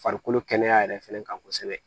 Farikolo kɛnɛya yɛrɛ fɛnɛ kan kosɛbɛ